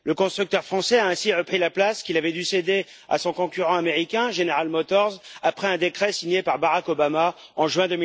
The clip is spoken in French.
Le constructeur français a ainsi repris la place qu'il avait dû céder à son concurrent américain General Motors après un décret signé par Barack Obama en juin